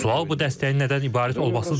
Sual bu dəstəyin nədən ibarət olmasıdır.